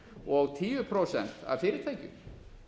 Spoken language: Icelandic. og tíu prósent af fyrirtækjum